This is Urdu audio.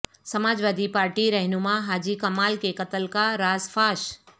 سماجوادی پارٹی رہنما حاجی کمال کے قتل کا راز فاش